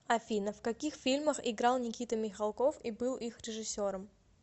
афина в каких фильмах играл никита михалков и был их режиссером